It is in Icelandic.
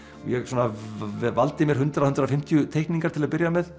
ég valdi mér hundrað til hundrað og fimmtíu teikningar til að byrja með